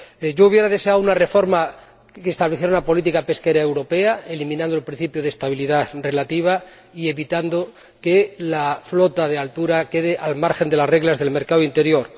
Yo habría deseado una reforma que estableciera una política pesquera europea, eliminando el principio de estabilidad relativa, y evitando que la flota de altura quede al margen de las reglas del mercado interior.